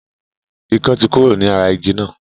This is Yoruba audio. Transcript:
Ikán tí kúrò ní ara igi náà.